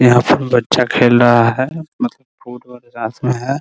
यहाँ सब बच्चा खेल रहा है मतलब मे है ।